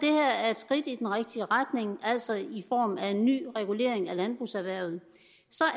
er et skridt i den rigtige retning altså i form af en ny regulering af landbrugserhvervet